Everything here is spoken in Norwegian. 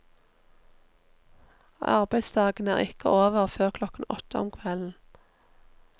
Arbeidsdagen er ikke over før klokken åtte om kvelden.